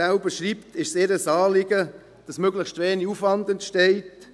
Wie die GEF schreibt, ist es ihr ein Anliegen, dass möglichst wenig Aufwand entsteht.